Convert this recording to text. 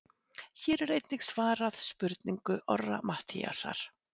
Hér er einnig svarað spurningu Orra Matthíasar: